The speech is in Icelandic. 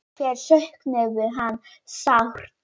Þær söknuðu hans sárt.